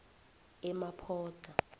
emaphodlha